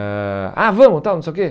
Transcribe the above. Ãh Ah, vamos, tal, não sei o quê.